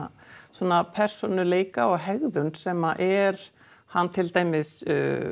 svona persónuleika og hegðun sem er hann til dæmis